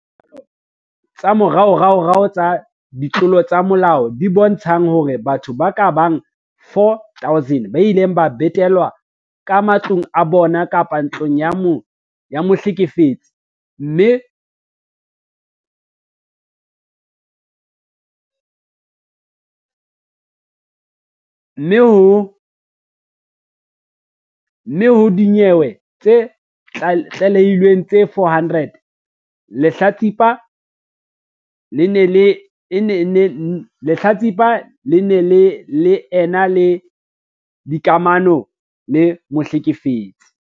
Dipalopalo tsa moraorao tsa ditlolo tsa molao di bontsha hore batho ba ka bang 4 000 ba ile ba betelwa ka matlong a bona kapa ntlong ya mohlekefetsi, mme ho dinyewe tse tlalehilweng tse 400, lehlatsipa le ne le ena le dikamano le mohlekefetsi.